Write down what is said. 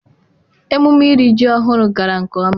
emume iri ji ohuru gara nke oma.